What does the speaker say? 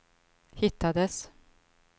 hittades